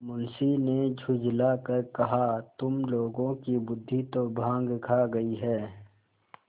मुंशी ने झुँझला कर कहातुम लोगों की बुद्वि तो भॉँग खा गयी है